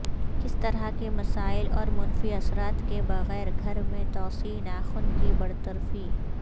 کس طرح کے مسائل اور منفی اثرات کے بغیر گھر میں توسیع ناخن کی برطرفی